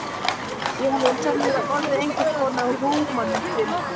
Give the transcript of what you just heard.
Ég hefði sennilega orðið einhvers konar húmanisti.